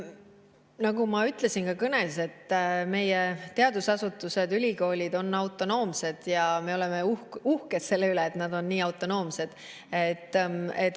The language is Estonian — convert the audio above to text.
Nagu ma ütlesin ka kõnes, meie teadusasutused ja ülikoolid on autonoomsed ja me oleme uhked selle üle, et nad on nii autonoomsed.